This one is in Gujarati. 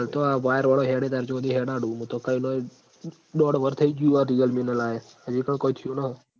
હાલ તો આ wire વાળાં હેડે જાય ન ત્યાં હુધી હેડાડુ મુ તો એ નાં એ દોઢ વરહ થઇ જ્યું આ realme ન લાયે હજી પણ કોય થ્યું નહીં